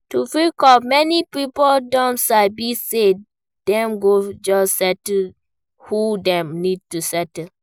To fit cope, many pipo don sabi sey dem go just settle who dem need to settle